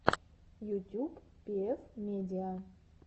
ютюб пиэф медиа